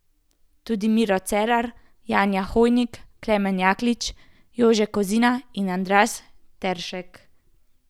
Pa tudi Miro Cerar, Janja Hojnik, Klemen Jaklič, Jože Kozina in Andraž Teršek.